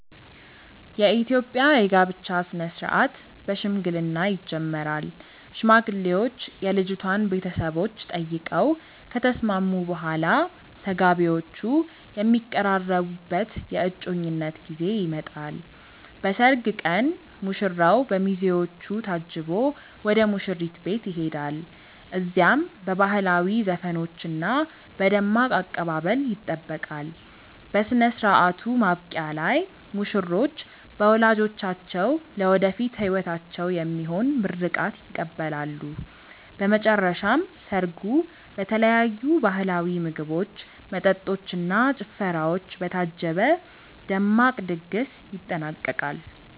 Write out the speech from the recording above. የኢትዮጵያ የጋብቻ ሥነ ሥርዓት በሽምግልና ይጀምራል። ሽማግሌዎች የልጅቷን ቤተሰቦች ጠይቀው ከተስማሙ በኋላ፣ ተጋቢዎቹ የሚቀራረቡበት የእጮኝነት ጊዜ ይመጣል። በሰርግ ቀን ሙሽራው በሚዜዎቹ ታጅቦ ወደ ሙሽሪት ቤት ይሄዳል። እዚያም በባህላዊ ዘፈኖችና በደማቅ አቀባበል ይጠበቃል። በሥነ ሥርዓቱ ማብቂያ ላይ ሙሽሮች በወላጆቻቸው ለወደፊት ሕይወታቸው የሚሆን ምርቃት ይቀበላሉ። በመጨረሻም ሰርጉ በተለያዩ ባህላዊ ምግቦች፣ መጠጦች እና ጭፈራዎች በታጀበ ደማቅ ድግስ ይጠናቀቃል።